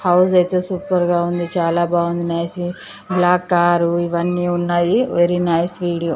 House అయితే super గా ఉంది నైస్ బ్లాక్ కారు ఇవన్నీ ఉన్నాయి సూపర్ నైస్ వీడియో .